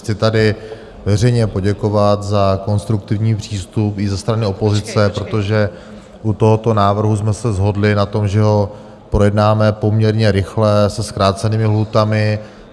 Chci tady veřejně poděkovat za konstruktivní přístup i ze strany opozice, protože u tohoto návrhu jsme se shodli na tom, že ho projednáme poměrně rychle se zkrácenými lhůtami.